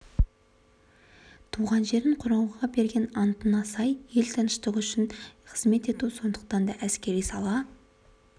туған жерін қорғау берген антына сай ел тыныштығы үшін қызмет ету сондықтан да әскери сала